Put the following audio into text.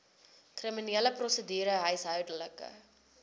kriminele prosedure huishoudelike